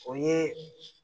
O ye